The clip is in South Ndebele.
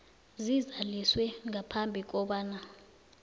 zizaliswe ngaphambi kobana